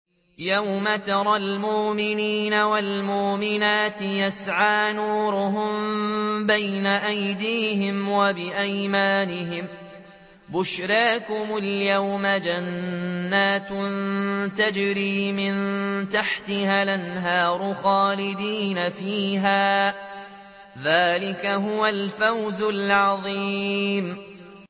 يَوْمَ تَرَى الْمُؤْمِنِينَ وَالْمُؤْمِنَاتِ يَسْعَىٰ نُورُهُم بَيْنَ أَيْدِيهِمْ وَبِأَيْمَانِهِم بُشْرَاكُمُ الْيَوْمَ جَنَّاتٌ تَجْرِي مِن تَحْتِهَا الْأَنْهَارُ خَالِدِينَ فِيهَا ۚ ذَٰلِكَ هُوَ الْفَوْزُ الْعَظِيمُ